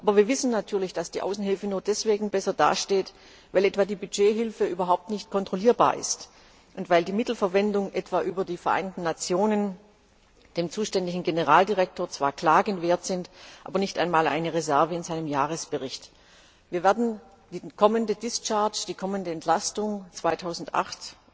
Aber wir wissen natürlich auch, dass die Außenhilfe nur deswegen besser dasteht, weil etwa die Budgethilfe überhaupt nicht kontrollierbar ist und weil die Mittelverwendung etwa über die Vereinten Nationen dem zuständigen Generaldirektor zwar Klagen wert ist, aber nicht einmal eine Reserve in seinem Jahresbericht. Wir werden die kommende Entlastung 2008